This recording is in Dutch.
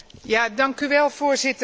Dank u wel, Voorzitter.